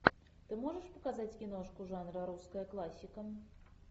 ты можешь показать киношку жанра русская классика